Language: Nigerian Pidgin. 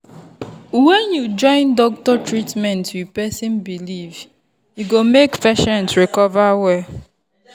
when you join doctor treatment with person belief e go make patient recover well.